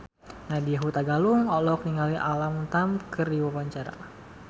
Nadya Hutagalung olohok ningali Alam Tam keur diwawancara